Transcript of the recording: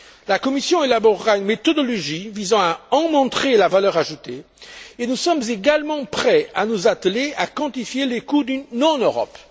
La Commission élaborera une méthodologie visant à en montrer la valeur ajoutée et nous sommes également prêts à nous atteler à quantifier les coûts d'une non Europe.